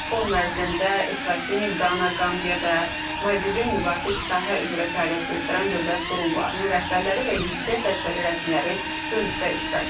Forum ərzində Esvatini, Qana, Qambiya və Maldivin müvafiq sahə üzrə fəaliyyət göstərən dövlət qurumlarının rəhbərləri və yüksək vəzifəli rəsmiləri görüşdə iştirak ediblər.